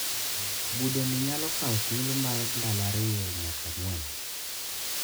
Budhoni nyalo kawo thuolo mar ndalo ariyo nyaka ang`wen.